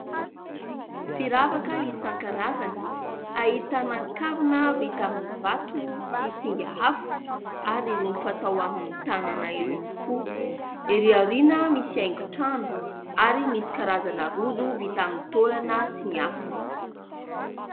Firavaka isan-karazany, ahitana kavina vita amin'ny vato sy singa hafa ary irony fatao amin'ny tanana irony koa. Erỳ aoriana misy haingon-trano ary misy karazana rojo vita amin'ny taolana sy ny hafa.